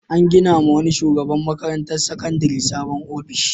An ginawa wani shugaban makarantar sakandare sabon ofishi.